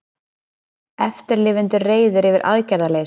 Eftirlifendur reiðir yfir aðgerðarleysi